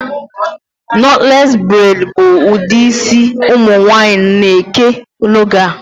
Knotless braid bụ ụdị isi ụmụ nwaanyị na-eke n'oge a